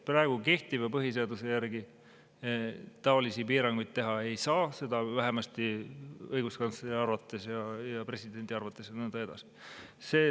Praegu kehtiva põhiseaduse järgi taolisi piiranguid teha ei saa, seda vähemasti õiguskantsleri arvates ja presidendi arvates ja nõnda edasi.